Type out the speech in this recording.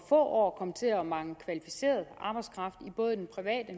år komme til at mangle kvalificeret arbejdskraft i både den private